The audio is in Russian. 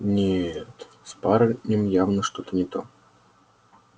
нет с парнем явно что-то не то